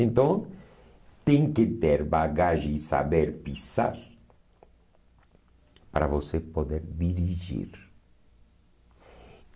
Então, tem que ter bagagem e saber pisar para você poder dirigir.